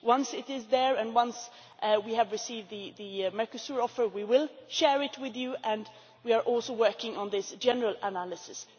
Once it is there and once we have received the Mercosur offer we will share it with you and we are also working on this general analysis.